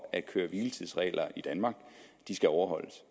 at køre hvile tids reglerne i danmark skal overholdes